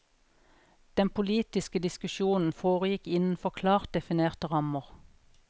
Den politiske diskusjonen foregikk innenfor klart definerte rammer.